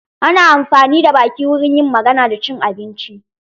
Ana amfani da baki wurin yin magana da cin abinci.